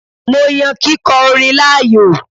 Mo yan kíkọ orin láàyò